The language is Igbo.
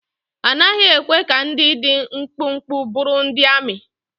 A naghị ekwe ka ndị dị mkpụmkpụ bụrụ ndị amị.